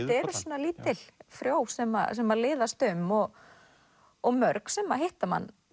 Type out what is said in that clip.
eru svona lítil frjó sem sem að liðast um og og mörg sem hitta mann